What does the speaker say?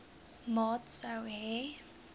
maat sou hê